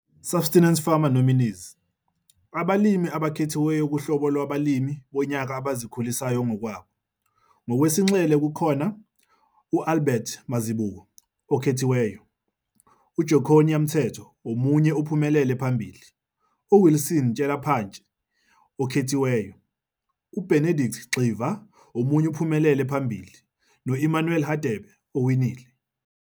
Subsistence farmer nominees_IMG_9725 - Abalimi Abakhethiweyo Kuhlobo Lwabalimi Bonyaka Abazikhulisayo ngokwabo. Ngokwesinxele kukhona - UAlbert Mazibuko, okhethiweyo, uJoconia Mthethwa, omunye ophumelele phambili, uWilson Tyelaphantsi, okhethiweyo, uBenedict Gxiva, omunye ophumelele phambili, noEmmanuel Hadebe, owinile.